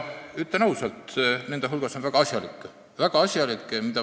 Ütlen ausalt, et nende hulgas on väga asjalikke.